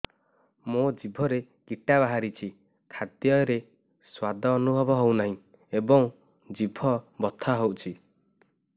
ମୋ ଜିଭରେ କିଟା ବାହାରିଛି ଖାଦ୍ଯୟରେ ସ୍ୱାଦ ଅନୁଭବ ହଉନାହିଁ ଏବଂ ଜିଭ ବଥା ହଉଛି